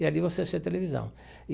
E ali você assistia televisão.